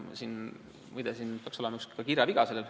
Muide, sellel slaidil peaks olema ka üks kirjaviga.